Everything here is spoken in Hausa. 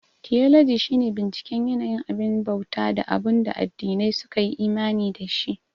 Tiyologi shi ne binciken yanayin abin bauta da abunda addinai su kayi imani da shi